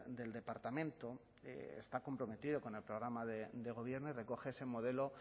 del departamento está comprometido con el programa de gobierno y recoge ese modelo